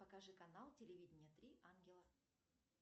покажи канал телевидения три ангела